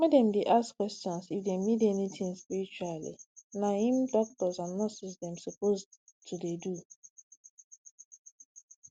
make dem dey ask questions if dem need anything spiritually na im doctors and nurses dem suppose to dey do